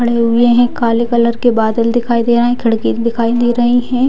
खड़े हुए हैं काले कलर के बादल दिखाई दे रहे है खिड़की भी दिखाई दे रही है।